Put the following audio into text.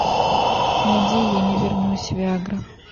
найди я не вернусь виа гра